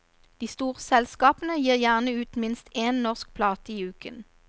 De store selskapene gir gjerne ut minst én norsk plate i uken.